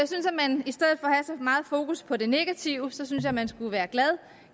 meget fokus på det negative synes jeg man skulle være glad og